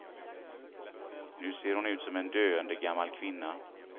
Nu ser hon ut som en döende gammal kvinna.